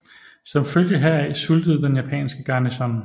Som følge heraf sultede den japanske garnison